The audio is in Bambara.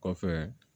Kɔfɛ